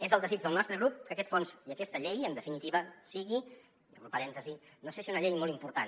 és el desig del nostre grup que aquest fons i aquesta llei en definitiva siguin obro un parèntesi no sé si una llei molt important